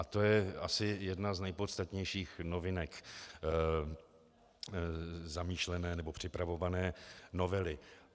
A to je asi jedna z nejpodstatnějších novinek zamýšlené nebo připravované novely.